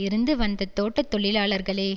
இருந்து வந்த தோட்ட தொழிலாளர்களே